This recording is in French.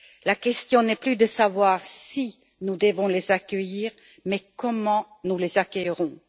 La question n'est plus de savoir si nous devons les accueillir mais comment nous les accueillerons.